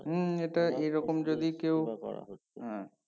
হুমএটা এরকম যদি কেউ হ্যাঁ